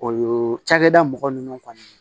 O ye cakɛda mɔgɔ nunnu kɔni